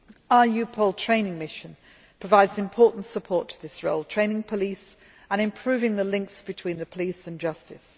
Our EUPOL training mission provides important support to this role training police and improving the links between the police and justice.